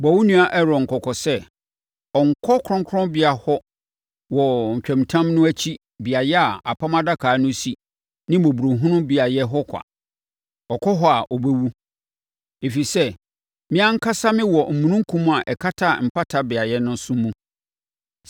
“Bɔ wo nua Aaron kɔkɔ sɛ, ɔnnkɔ kronkronbea hɔ wɔ ntwamutam no akyi beaeɛ a apam adaka no si ne mmɔborɔhunu beaeɛ hɔ kwa. Ɔkɔ hɔ a ɔbɛwu, ɛfiri sɛ, mʼankasa mewɔ omununkum a ɛkata mpata beaeɛ so no mu.